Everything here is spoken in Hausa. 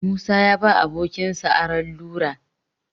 Musa ya ba abokinsa Aron rula